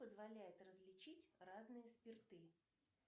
позволяет различить разные спирты